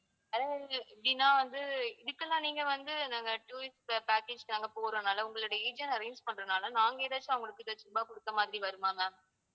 அதாவது எப்படின்னா வந்து இதுக்கெல்லாம் நீங்க வந்து நாங்க tourist pa~ package நாங்க போடுறதுனால உங்களோட agent arrange பண்றதுனால நாங்க ஏதாச்சும் அவங்களுக்கு ஏதாச்சு ருபாய் கொடுத்த மாதிரி வருமா ma'am?